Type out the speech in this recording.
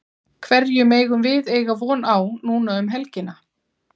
Hverju megum við eiga von á núna um helgina?